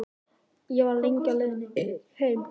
Ég var lengi á leiðinni heim.